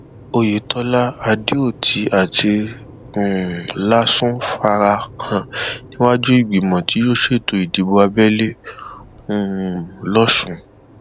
oyetola adeoti àti um lásùn fara hàn níwájú ìgbìmọ tí yóò ṣètò ìdìbò abẹlé um lọsùn